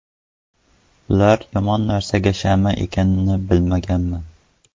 Ular yomon narsalarga shama ekanini bilmaganman”.